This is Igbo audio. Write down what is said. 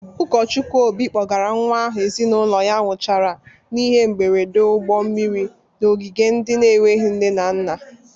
Ụkọchukwu Obi kpọgara nwa ahụ ezinụlọ ya nwụchara n'ihe mgberede ụgbọ mmiri n'ogige ndị na-enweghi nne na nna.